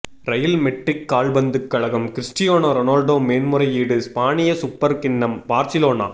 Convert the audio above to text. real Madrid கால்பந்து கழகம் Cristiano Ronaldo மேன்முறையீடு ஸ்பானிய சுப்பர் கிண்ணம் பார்சிலோனா